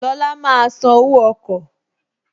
Lọla máa san owó ọkọ̀